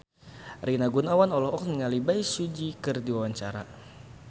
Rina Gunawan olohok ningali Bae Su Ji keur diwawancara